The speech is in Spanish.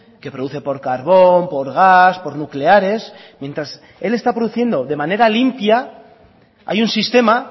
que produce por carbón por gas por nucleares mientras él está produciendo de manera limpia hay un sistema